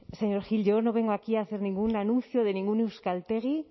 señor gil yo no vengo aquí a hacer ningún anuncio de ningún euskaltegi